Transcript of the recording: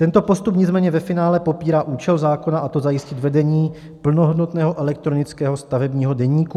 Tento postup nicméně ve finále popírá účel zákona, a to zajistit vedení plnohodnotného elektronického stavebního deníku.